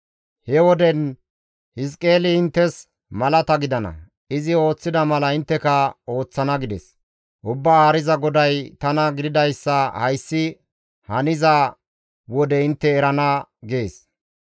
He woden Hiziqeeli inttes malata gidana; izi ooththida mala intteka ooththana› gides. Ubbaa Haariza GODAY tana gididayssa hayssi haniza wode intte erana» gees.